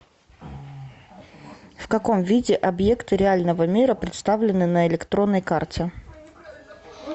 в каком виде объекты реального мира представлены на электронной карте